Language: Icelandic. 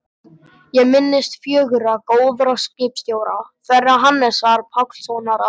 Ég minnist fjögurra góðra skipstjóra, þeirra Hannesar Pálssonar á